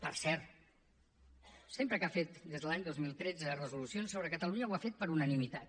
per cert sempre que ha fet des de l’any dos mil tretze resolucions sobre catalunya ho ha fet per unanimitat